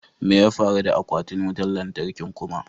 Me ya faru da aquatin wutan latarkin kuma?